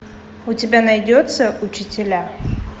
у тебя найдется учителя